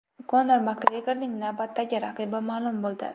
Konor Makgregorning navbatdagi raqibi ma’lum bo‘ldi.